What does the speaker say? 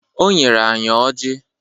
O nyere anyị Ọji